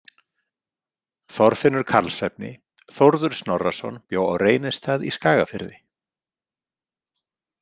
Þorfinnur Karlsefni Þórður Snorrason bjó á Reynistað í Skagafirði.